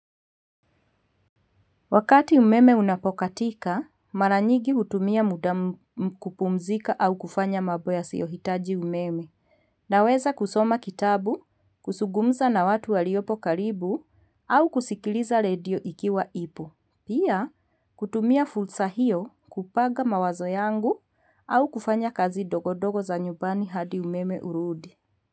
Wakati umeme unapokatika, maranyigi hutumia muda kupumzika au kufanya mambo yasiyohitaji umeme. Naweza kusoma kitabu, kuzungumza na watu waliopo karibu, au kusikiliza redio ikiwa ipo. Pia, kutumia fulsa hiyo kupanga mawazo yangu au kufanya kazi ndogondogo za nyumbani hadi umeme urudi.